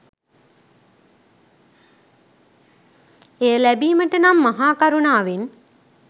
එය ලැබීමට නම් මහාකරුණාවෙන්